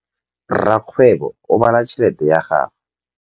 Rakgwêbô o bala tšheletê ya gagwe.